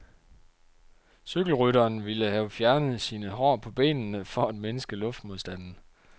Cykelrytteren ville have fjernet sine hår på benene for at mindske luftmodstanden.